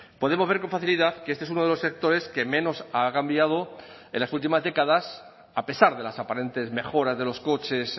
podemos ver con facilidad que este es uno de los sectores que menos ha cambiado en las últimas décadas a pesar de las aparentes mejoras de los coches